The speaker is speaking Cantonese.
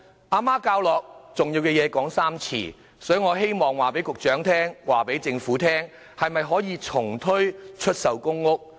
媽媽教我重要的事情要說三遍，所以我希望告訴局長、告訴政府：可否重推出售公屋？